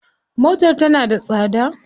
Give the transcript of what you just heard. Motar tana da tsada.